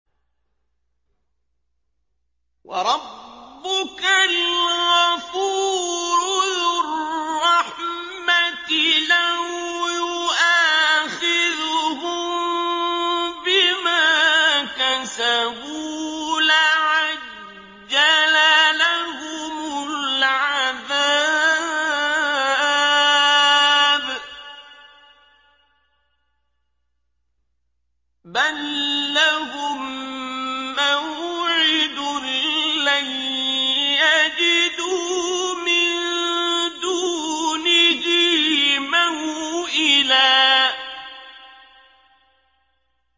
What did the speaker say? وَرَبُّكَ الْغَفُورُ ذُو الرَّحْمَةِ ۖ لَوْ يُؤَاخِذُهُم بِمَا كَسَبُوا لَعَجَّلَ لَهُمُ الْعَذَابَ ۚ بَل لَّهُم مَّوْعِدٌ لَّن يَجِدُوا مِن دُونِهِ مَوْئِلًا